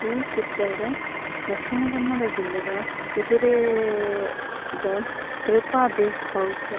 ಈ ಚಿತ್ರಡ್ ದಕ್ಷಿಣ ಕನ್ನಡ ಜಿಲ್ಲೆದ ಉಜಿರೇ ದ ಕ್ರಪಾ ಬೇಕ್ ಹೌಸ್ .